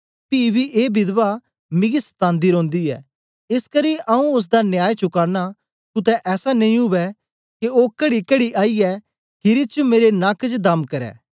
पी बी ए विधवा मिगी सतान्दी रौंदी ऐ एसकरी आऊँ ओसदा न्याय चुकाना कुतै ऐसा नेई उवै के ओ कड़ीकड़ी आईयै खीरी च मेरे नक च दम करदे